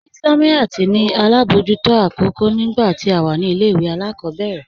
Islamiyat ní alábọjútò akókò nígbà tí à wà ní ilẹ̀-ìwé aláàkòbẹ̀rẹ̀